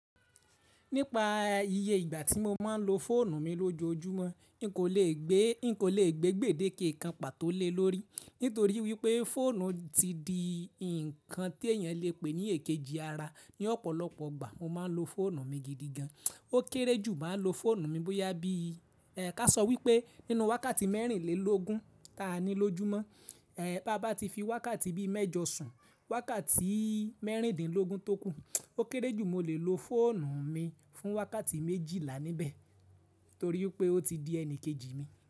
Nípa iye ìgbà tí mo máa ń lo fóònù mi lójoojúmọ́, n kò le gbé, n kò le gbé gbèdéke kan pàtó lé lórí nítorí wípé fóònù ti di nnkan tí èèyàn lè pè ní èkejì ara. Ni ọ̀pọ̀lọpọ̀ ìgbà mo máa ń lo fóònù mi gidigan. Ó kéré jù maá ń lo fóònù mi bóyá bí ka sọ wípé nínú wákàtí mẹ́rìnlélógún ta ni lójúmọ́, ẹ bàá bá ti fi wákàtí bí mẹ́jọ sùn, wákàtí mẹ́rìndínlógún tókù, ó kéré jù mo lè lo fóònù mi fún wákàtí méjìlá níbẹ̀ torí pé ó ti di ẹnikejì mi.